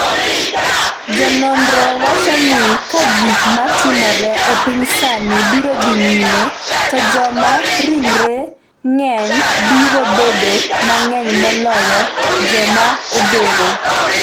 Jononro wacho ni ka gik ma timore e piny sani biro dhi nyime, to joma ringregi ng'eny biro bedo mang’eny moloyo joma odhero